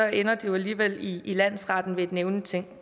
ender de jo alligevel i landsretten ved et nævningeting